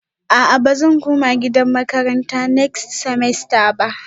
A'a bazan koma gidan makaranta next semester ba